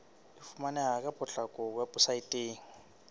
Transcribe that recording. e fumaneha ka potlako weposaeteng